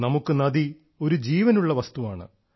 നമുക്ക് നദി ഒരു ജീവനുള്ള വസ്തുവാണ്